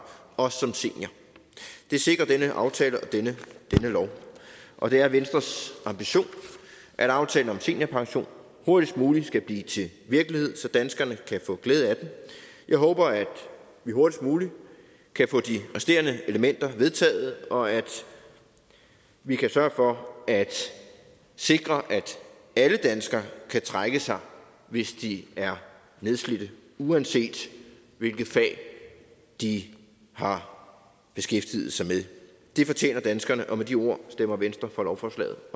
også som senior det sikrer denne aftale og denne lov og det er venstres ambition at aftalen om seniorpension hurtigst muligt skal blive til virkelighed så danskerne kan få glæde af den jeg håber at vi hurtigst muligt kan få de resterende elementer vedtaget og at vi kan sørge for at sikre at alle danskere kan trække sig hvis de er nedslidte uanset hvilket fag de har beskæftiget sig med det fortjener danskerne og med de ord stemmer venstre for lovforslaget